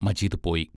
മജീദ് പോയി.